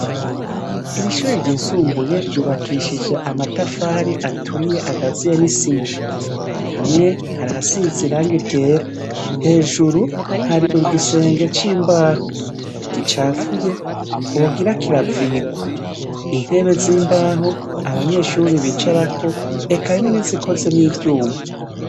Iri shure ryisumbuye ryubakishijwe amatafari aturiye agazuyemwo isima. Hamwe, hari ahasize irangi ryera. Hejuru, hari igisenge c'imbaho gicafuye, wogira kiravigwa. Intebe z'imbaho abanyeshure bicarako eka harimwo n'izikozwe n'ivyuma.